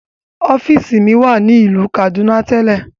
Ọfiisi mi wa ni ilu Kaduna telẹ.